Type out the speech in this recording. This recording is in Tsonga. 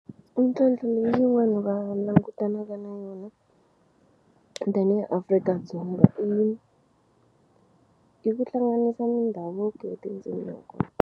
Mintlhontlho leyi yin'wani va langutanaka na yona tanihi Afrika-Dzonga i i ku hlanganisa mindhavuko ya tindzimi .